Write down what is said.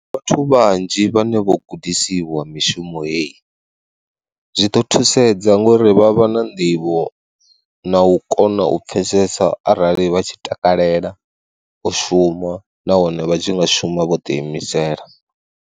Vhathu vhanzhi vhane vho gudisiwa mishumo heyi, zwi ḓo thusedza ngori vha vha na nḓivho na u kona u pfhesesa arali vha tshi takalela u shuma nahone vha tshi nga shuma vho ḓi imisela.